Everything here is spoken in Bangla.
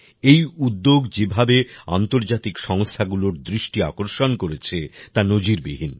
এই উদ্যোগ যেভাবে আন্তর্জাতিক সংস্থাগুলোর দৃষ্টি আকর্ষণ করেছে তা নজিরবিহীন